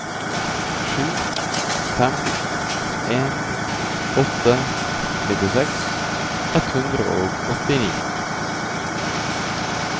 sju fem en åtte nittiseks ett hundre og åttini